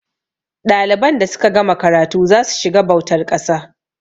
ɗaliban da suka gama karatu za su shiga bautar ƙasa